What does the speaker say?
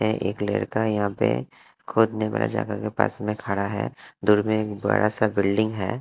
ये एक लड़का यहां पे के पास में खड़ा है दूर में एक बड़ा सा बिल्डिंग है।